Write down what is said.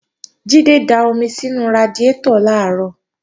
Jídé da omi sínú radiátọ̀ làárọ̀